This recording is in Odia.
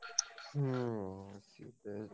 ହୁଁ ।